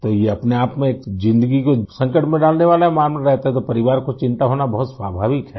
तो ये अपने आप में एक जिंदगी को संकट में डालने वाला मामला रहता है तो परिवार को चिंता होना बहुत स्वाभाविक है